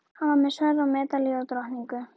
Hann var með sverð og medalíu og drottningu.